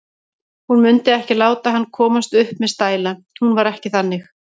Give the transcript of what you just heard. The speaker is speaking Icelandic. Hún mundi ekki láta hann komast upp með stæla, hún var ekki þannig.